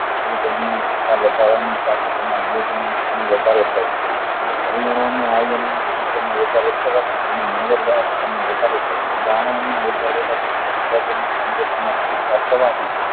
વધારા ની સાથે તેના માં વધારો થાય છે પરિણામે વધારો થાય છે દ્રાવણ માં ઓગળેલા વિદ્યુત ફેરફાર કરવાથી